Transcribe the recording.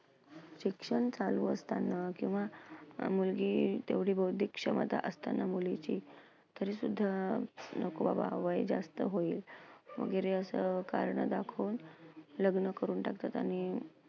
शिक्षण चालू असताना किंवा मुलगी तेवढी बौद्धिक क्षमता असताना मुलीची तरीसुद्धा नको बाबा वय जास्त होईल वगैरे असं कारणं दाखवून लग्न करून टाकतात आणि